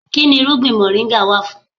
Kínni irúgbìn moringa wà fún?